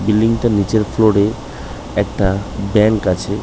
Building -টার নিচের floor -এ একটা ব্যাঙ্ক আছে।